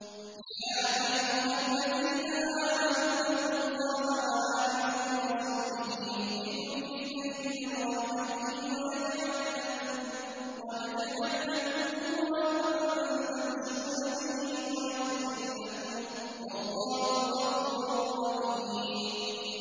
يَا أَيُّهَا الَّذِينَ آمَنُوا اتَّقُوا اللَّهَ وَآمِنُوا بِرَسُولِهِ يُؤْتِكُمْ كِفْلَيْنِ مِن رَّحْمَتِهِ وَيَجْعَل لَّكُمْ نُورًا تَمْشُونَ بِهِ وَيَغْفِرْ لَكُمْ ۚ وَاللَّهُ غَفُورٌ رَّحِيمٌ